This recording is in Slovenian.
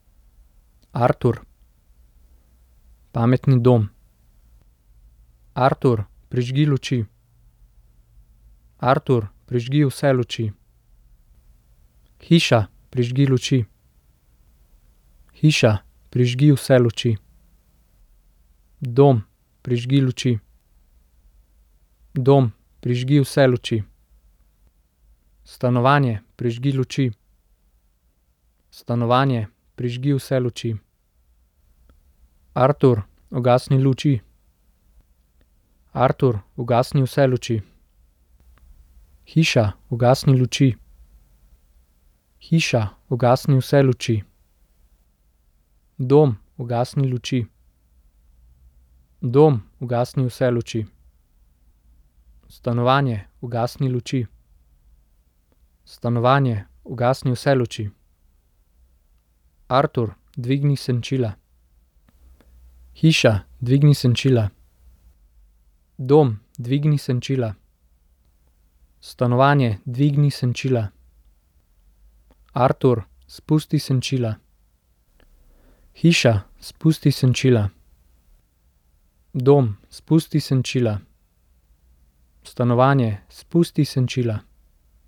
Artur. Pametni dom. Artur, prižgi luči. Artur, prižgi vse luči. Hiša, prižgi luči. Hiša, prižgi vse luči. Dom, prižgi luči. Dom, prižgi vse luči. Stanovanje, prižgi luči. Stanovanje, prižgi vse luči. Artur, ugasni luči. Artur, ugasni vse luči. Hiša, ugasni luči. Hiša, ugasni vse luči. Dom, ugasni luči. Dom, ugasni vse luči. Stanovanje, ugasni luči. Stanovanje, ugasni vse luči. Artur, dvigni senčila. Hiša, dvigni senčila. Dom, dvigni senčila. Stanovanje, dvigni senčila. Artur, spusti senčila. Hiša, spusti senčila. Dom, spusti senčila. Stanovanje, spusti senčila.